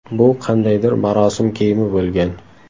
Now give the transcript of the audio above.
Bu qandaydir marosim kiyimi bo‘lgan.